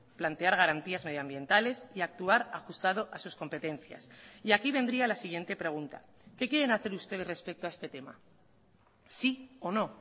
plantear garantías medioambientales y actuar ajustado a sus competencias y aquí vendría la siguiente pregunta qué quieren hacer ustedes respecto a este tema sí o no